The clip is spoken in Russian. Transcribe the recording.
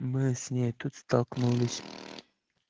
мы с ней тут столкнулись